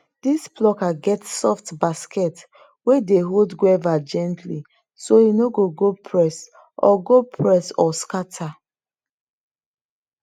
this plucker get soft basket wey dey hold guava gently so e no go press or go press or scatter